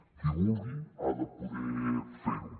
qui vulgui ha de poder fer ho